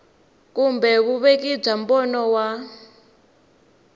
kumbe vuveki bya mbono wa